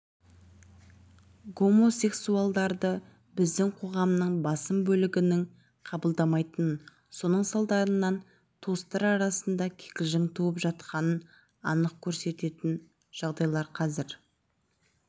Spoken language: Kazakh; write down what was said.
гомосексуалдарды біздің қоғамның басым бөлігінің қабылдамайтынын соның салдарынан туыстар арасында кикілжің туып жатқанын анық көрсететін жағдайларқазір